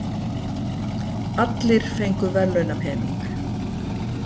Allir fengu verðlaunapening